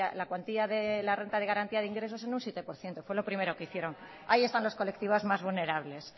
la cuantía de la renta de garantía de ingresos en un siete por ciento fue lo primero que hicieron ahí están los colectivos más vulnerables